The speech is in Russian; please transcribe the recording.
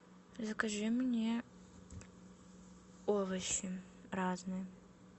закажи мне овощи разные